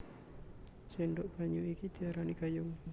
Sendhok banyu iki diarani gayung